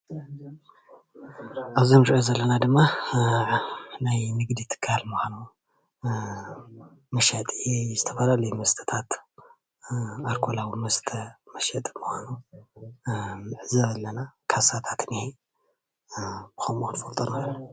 ኣብዚ እንሪኦ ዘለና ድማ ናይ ንግዲ ትካል መሸጢ ዝተፈላለዩ መስተታት ኣልኮላዊ መስተ መሸጢ ምኳኑ ንዕዘብ ኣለና ካሳታት እንሄ ከሙኡ ክንፈልጦ ንክእል፡፡